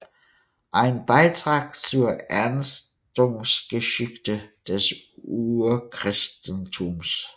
Ein Beitrag zur Entstehungsgeschichte des Urchristentums